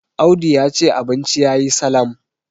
Audu ya ce abinci ya yi Salam